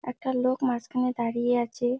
একটা লোক মাঝখানে দাঁড়িয়ে আছে।